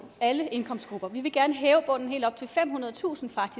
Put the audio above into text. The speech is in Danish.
alle indkomstgrupper vi vil gerne hæve bunden helt op til femhundredetusind